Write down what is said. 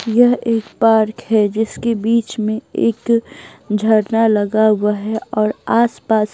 यह एक पार्क है जिसके बीच में एक झरना लगा हुआ है और आसपास --